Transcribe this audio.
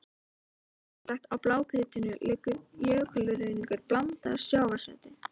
Mislægt á blágrýtinu liggur jökulruðningur blandaður sjávarseti.